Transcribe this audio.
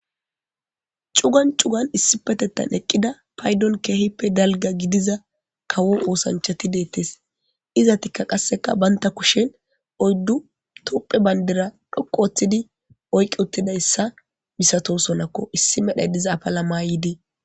Cugan cugani issippeteththan eqida payiddonni kehippe daliga gidizza kawo oththanichchatti de'etes.izetikka qase banitta kushshenni oyiddu tophphiya baniddira dhoqqu oththidi de'eetes.